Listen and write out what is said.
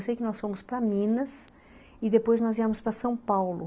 Eu sei que nós fomos para Minas e depois nós íamos para São Paulo.